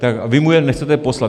A vy mu je nechcete poslat.